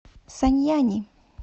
саньяни